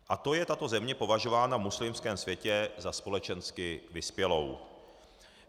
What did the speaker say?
A to je tato země považována v muslimském světě za společensky vyspělou.